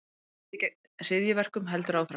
Stríðið gegn hryðjuverkum heldur áfram